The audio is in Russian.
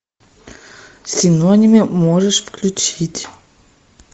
синонимы можешь включить